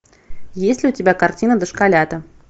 есть ли у тебя картина дошколята